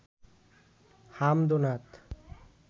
হামদ ও নাত